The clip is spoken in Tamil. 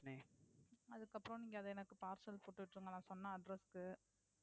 அதுக்கு அப்புறம் நீங்க எனக்கு parcel போட்டு விட்டிருங்க நான் சொன்ன address க்கு.